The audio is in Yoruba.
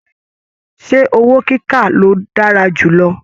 Ṣe owó kíkà lo dára jù lọ?